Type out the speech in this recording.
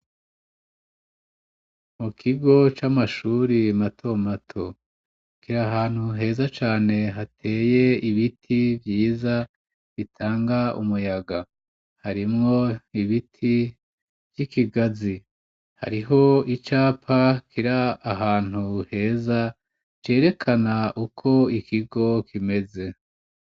Mu kigo c'amashuri mato mato, kiri ahantu heza cane hateye ibiti vyiza bitanga umuyaga. Harimwo ibiti vy'ikigazi, hariho icapa kiri ahantu heza cerekana uko ikigo kimeze.